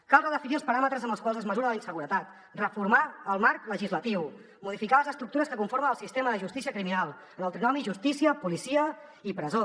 cal redefinir els paràmetres amb els quals es mesura la inseguretat reformar el marc legislatiu modificar les estructures que conformen el sistema de justícia criminal en el trinomi justícia policia i presó